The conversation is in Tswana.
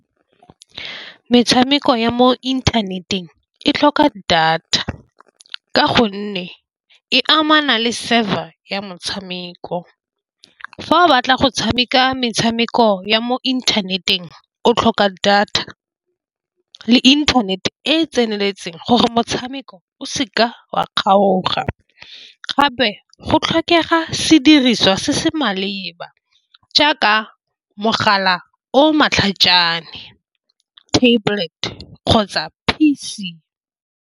Metshameko ya mo inthaneteng e tlhoka data, ka gonne e amana le server ya motshameko. Fa o batla go tshameka metshameko ya mo inthaneteng o tlhoka data le internet-e e tseneletseng gore motshameko o seka wa kgaoga, gape go tlhokega sediriswa se se maleba jaaka mogala o matlhajana ka tablet kgotsa P_C.